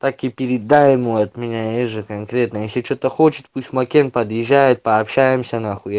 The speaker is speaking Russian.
так и передай ему от меня есть же конкретно если что-то хочет пусть макен подъезжает пообщаемся нахуй я